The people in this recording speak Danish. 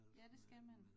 Ja det skal man